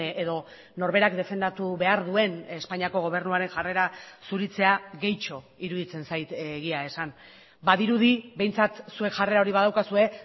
edo norberak defendatu behar duen espainiako gobernuaren jarrera zuritzea gehitxo iruditzen zait egia esan badirudi behintzat zuek jarrera hori badaukazue